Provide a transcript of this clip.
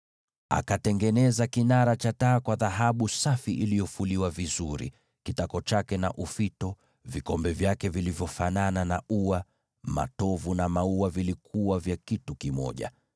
Akatengeneza kinara cha taa cha dhahabu safi iliyofuliwa vizuri katika kitako chake na ufito wake; vikombe vyake vilivyofanana na ua, matovu na maua vilikuwa kitu kimoja.